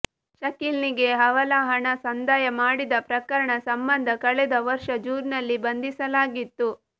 ಶಕೀಲ್ನಿಗೆ ಹವಾಲಾ ಹಣ ಸಂದಾಯ ಮಾಡಿದ ಪ್ರಕರಣ ಸಂಬಂಧ ಕಳೆದ ವರ್ಷ ಜೂನ್ನಲ್ಲಿ ಬಂಧಿಸಲಾಗಿತ್ತು